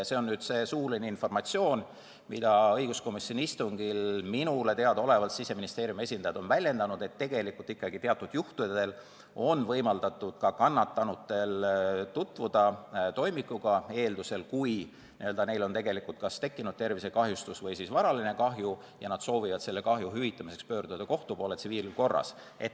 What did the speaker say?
See on nüüd suuline informatsioon, mida õiguskomisjoni istungil minule teadaolevalt Siseministeeriumi esindajad on väljendanud, et tegelikult ikkagi teatud juhtudel on võimaldatud ka kannatanutel tutvuda toimikuga, eeldusel, et neil on tekkinud kas tervisekahjustus või varaline kahju ja nad soovivad selle hüvitamiseks pöörduda kohtu poole tsiviilkorras.